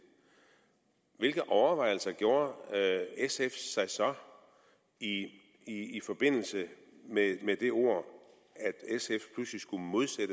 hvilke overvejelser gjorde sf sig så i forbindelse med det ord at sf pludselig skulle